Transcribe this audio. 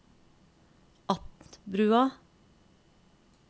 Atnbrua